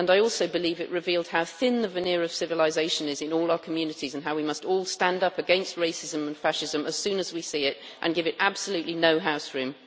I also believe it revealed how thin the veneer of civilization is in all our communities and how we must all stand up against racism and fascism as soon as we see it and give it absolutely no houseroom.